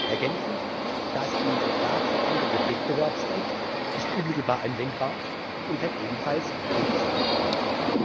Ergänzend Das im Vertrag verankerte Wettbewerbsrecht ist unmittelbar anwendbar und kann ebenfalls durchgesetzt werden.